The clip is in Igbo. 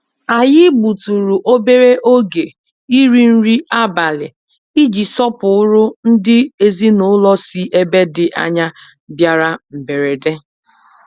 Anyị gbutụrụ obere oge iri nri abalị iji sọpụrụ ndị ezinụlọ sí ebe dị ányá bịara mberede.